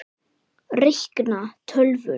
Reikna- tölvur